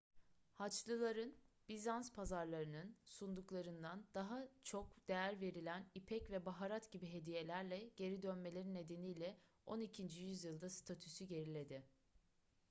haçlıların bizans pazarlarının sunduklarından daha çok değer verilen ipek ve baharat gibi hediyelerle geri dönmeleri nedeniyle on ikinci yüzyılda statüsü geriledi